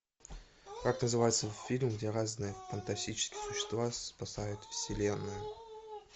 как называется фильм где разные фантастические существа спасают вселенную